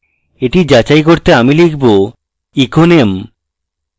এটি যাচাই করতে আমি লিখব echo name